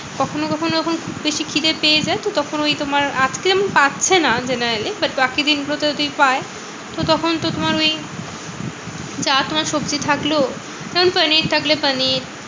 কখনো কখনো যখন খুব বেশি খিদে পেয়ে যায় তো তখন ওই তোমার আজকে যেমন পাচ্ছে না generally. but বাকি দিনগুলোতে যদি পায়, তো তখন তো তোমার ওই যা তোমার সবজি থাকলো যেমন পনির থাকলে পনির